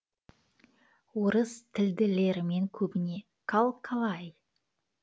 орыс тілділермен көбіне кал калай